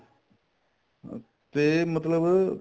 ਅਹ ਤੇ ਮਤਲਬ